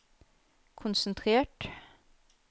konsentrert